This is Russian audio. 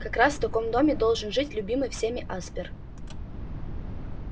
как раз в таком доме должен жить любимый всеми аспер